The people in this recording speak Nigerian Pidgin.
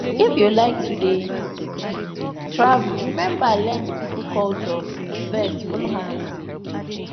if you like to dey um travel remember learn di pipo culture first follow am